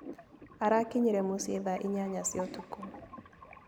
Arakinyire mũciĩ thaa inyanya cia ũtukũ.